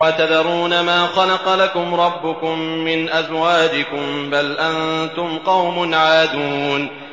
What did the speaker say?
وَتَذَرُونَ مَا خَلَقَ لَكُمْ رَبُّكُم مِّنْ أَزْوَاجِكُم ۚ بَلْ أَنتُمْ قَوْمٌ عَادُونَ